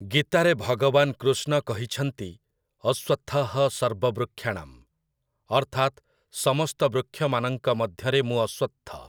ଗୀତାରେ ଭଗବାନ କୃଷ୍ଣ କହିଛନ୍ତି, 'ଅଶ୍ୱତ୍ଥଃ ସର୍ବବୃକ୍ଷାଣାଂ', ଅର୍ଥାତ୍ ସମସ୍ତ ବୃକ୍ଷମାନଙ୍କ ମଧ୍ୟରେ ମୁଁ ଅଶ୍ୱତ୍ଥ ।